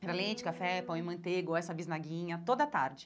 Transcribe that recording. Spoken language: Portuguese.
Hum era leite, café, pão e manteiga, ou essa bisnaguinha, toda tarde.